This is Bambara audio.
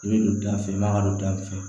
I bɛ don da fɛ i b'a ka don da fɛ